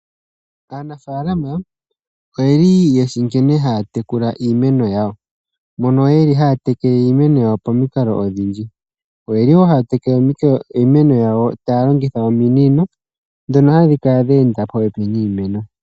Aanafaalama oyeli yeshi nkene haya tekula iimeno yawo, mono ye li haya telekele iimeno yawo pamikalo odhindji. Oye li woo haya telekele iimeno yawo taya longitha ominino dhono hadhi kala dha enda popepi niimeno.